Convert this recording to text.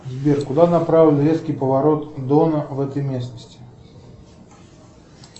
сбер куда направлен резкий поворот дона в этой местности